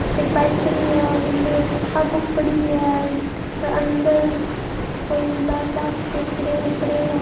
एक बाइक खडी है और इन टाबुक पड़ी है और अंदर कोई लाल लाल से खड़े है पड़े हैं।